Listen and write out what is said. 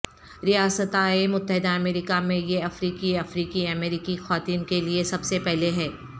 ریاستہائے متحدہ امریکہ میں یہ افریقی افریقی امریکی خواتین کے لئے سب سے پہلے ہے